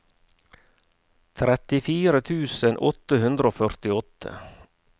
trettifire tusen åtte hundre og førtiåtte